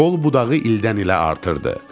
Qol budağı ildən-ilə artırdı.